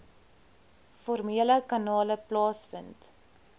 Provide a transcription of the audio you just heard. formele kanale plaasvind